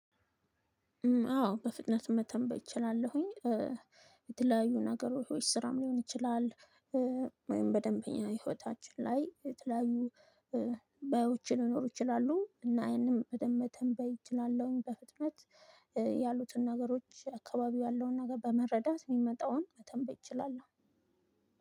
አዎ በፍጥነት መተንበይ እችላለሁኝ የተለያዩ ነገሮች ስራም ሊሆን ይችላል። ወይም በደንብ እኛ ህይወታችን ላይ የተለያዩ ባዮች ሊኖሩ ይችላሉ። እና ያንን በደንብ መተንበይ እችላለሁኝ በፍጥነት። ያሉትን ነገሮች አካባቢው ያለውን ነገር በመረዳት የሚመጣውን መተንበይ እችላለሁ።